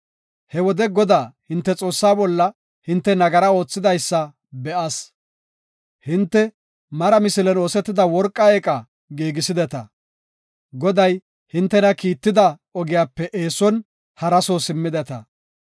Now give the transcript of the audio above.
He wode Godaa, hinte Xoossaa bolla hinte nagara oothidaysa be7as. Hinte mara misilen oosetida worqa eeqa giigisideta. Goday, hintena kiitida ogiyape eeson hara soo simmideta.